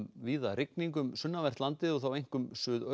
víða rigning um sunnanvert landið og þá einkum